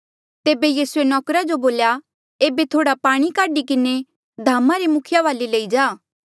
तेबे यीसूए नौकरा जो बोल्या एेबे थोह्ड़ा पाणी काढी किन्हें धामा रे मुखिये वाले लई जा